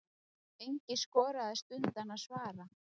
Enginn skoraðist undan að svara.